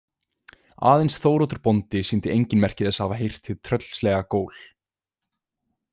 Aðeins Þóroddur bóndi sýndi engin merki þess að hafa heyrt hið tröllslega gól.